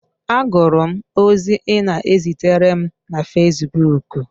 Agụrụ m ozi ị na-ezitere m na facebook